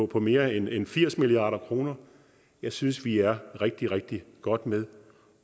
på mere end end firs milliard kroner jeg synes vi er rigtig rigtig godt med